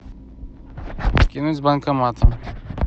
скинуть с банкоматом